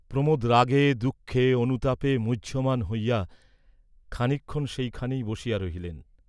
প্রমোদ রাগে দুঃখে অনুতাপে মুহ্যমান হইয়া খানিকক্ষণ সেই খানেই বসিয়া রহিলেন।